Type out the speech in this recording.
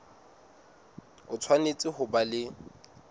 o tshwanetse ho ba le